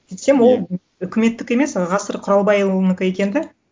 сөйтсем ол үкіметтікі емес ғасыр құралбайұлынікі екен де